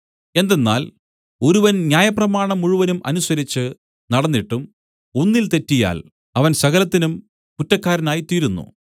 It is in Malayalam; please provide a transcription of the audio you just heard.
എന്തെന്നാൽ ഒരുവൻ ന്യായപ്രമാണം മുഴുവനും അനുസരിച്ച് നടന്നിട്ടും ഒന്നിൽ തെറ്റിയാൽ അവൻ സകലത്തിനും കുറ്റക്കാരനായിത്തീരുന്നു